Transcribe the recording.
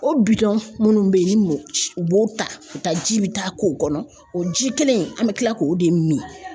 O bidɔn munnu be yen ni mɔ u b'o ta ka taa ji bi taa k'o kɔnɔ o ji kelen in an be kila k'o de mi